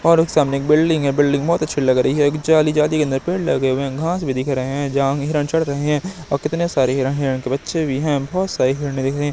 और एक सामने बिल्डिंग है बिल्डिंग बहोत अच्छी लग रही है एक जाली जाली के अंदर पेड़ लगे हुए हैं घास भी दिख रहे हैं जहां हिरण चढ़ रहे हैं और कितने सारे हिरण हैं हिरण के बच्चे भी हैं बहोत सारि हिरने दिख रही है।